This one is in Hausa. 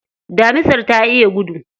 Damisar ta iya gudu.